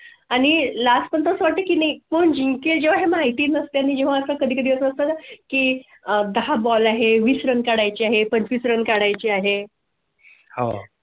आणि last पण त्यासाठी नाही कोण जिंकेल हे माहिती नसते आणि जेव्हा कधी दिवस असतात की दहा ball आहे वीस run काढाय ची आहे. पण पंचविस run काढाय ची आहे. हो.